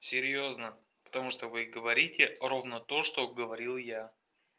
серьёзно потому что вы говорите ровно то что говорил я